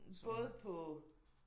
Både på